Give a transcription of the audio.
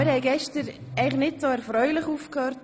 Wir hörten gestern nicht so erfreulich auf.